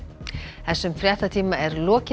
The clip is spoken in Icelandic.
þessum fréttatíma er lokið